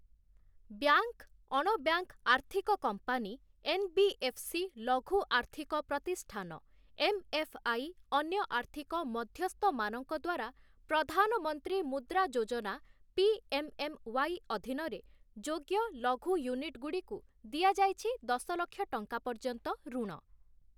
Bank, ଅଣ bank ଆର୍ଥିକ company, NBFC. ଲଘୁ ଆର୍ଥିକ ପ୍ରତିଷ୍ଠାନ, ଏମ୍‌.ଏଫ୍‌.ଆଇ. ଅନ୍ୟ ଆର୍ଥିକ ମଧ୍ୟସ୍ଥମାନଙ୍କ ଦ୍ୱାରା ପ୍ରଧାନମନ୍ତ୍ରୀ ମୁଦ୍ରା ଯୋଜନା ପି.ଏମ୍‌.ଏମ୍‌.ୱାଇ. ଅଧୀନରେ ଯୋଗ୍ୟ ଲଘୁ ୟୁନିଟ୍‌ଗୁଡ଼ିକୁ ଦିଆଯାଇଛି ଦଶ ଲକ୍ଷ ଟଙ୍କା ପର୍ଯ୍ୟନ୍ତ ଋଣ ।